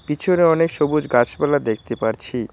পিছনে অনেক সবুজ গাছপালা দেখতে পারছি।